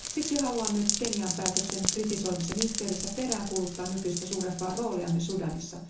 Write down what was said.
Siksi haluan nyt Kenian päätöksen kritisoinnin yhteydessä peräänkuuluttaa EUn nykyistä suurempaa roolia Sudanissa.